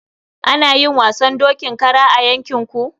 Ana yin wasan dokin kara a yankin ku?